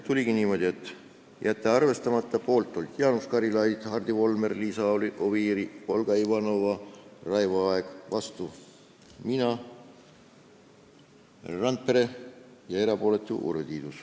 Oligi niimoodi, et arvestamata jätmise poolt olid Jaanus Karilaid, Hardi Volmer, Liisa Oviir, Olga Ivanova ja Raivo Aeg, vastu olime mina ja Valdo Randpere ning erapooletuks jäi Urve Tiidus.